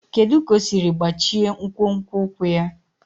Kedu ka o siri gbachie nkwonkwo ụkwụ ya?